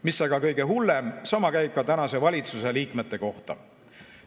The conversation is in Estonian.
Mis aga kõige hullem: sama käib ka tänase valitsuse liikmete kohta.